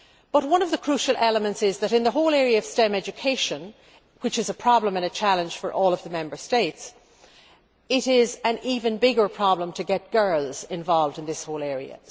But one of the crucial elements is that in the whole area of STEM education, which is a problem and a challenge for all the Member States, it is an even bigger problem to get girls involved in this whole area.